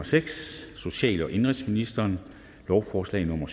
seks social og indenrigsministeren lovforslag nummer